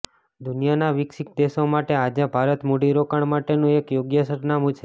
દુનિયાના વિકસિત દેશો માટે આજે ભારત મૂડીરોકાણ માટેનું એક યોગ્ય સરનામું છે